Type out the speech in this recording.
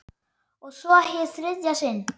Og svo- hið þriðja sinn.